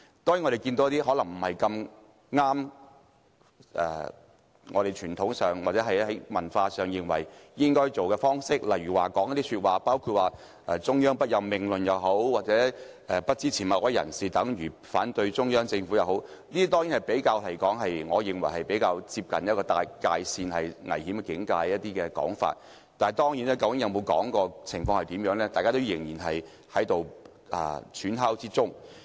另外，亦有一些可能不太符合傳統、文化的方式，例如中央不任命論，或不支持某位候選人等於反對中央政府的說法等，我認為這些是較為接近危險界線的說法，但當事人有否說過或具體情況如何，大家仍在揣測或推敲之中。